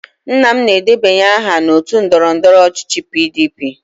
Nna m na-edebanye aha na otu ndọrọndọrọ ọchịchị PDP.